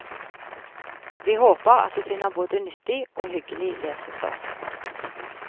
Vi håper at du finner både nyttig og hyggelig lesestoff.